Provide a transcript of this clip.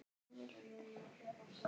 Hvað ætliði að fá mikið fyrir eignasölu?